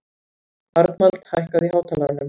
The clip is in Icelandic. Arnald, hækkaðu í hátalaranum.